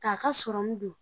Ka ka don.